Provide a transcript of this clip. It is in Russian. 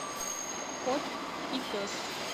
кот и пес